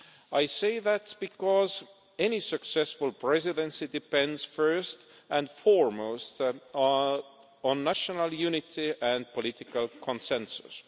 I say that because any successful Presidency depends, first and foremost, on national unity and political consensus.